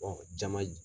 jama